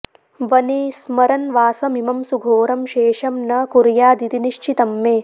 वने स्मरन्वासमिमं सुघोरं शेषं न कुर्यादिति निश्चितं मे